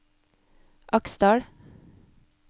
Aksdal